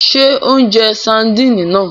Ṣe o n jẹ Sardini náà?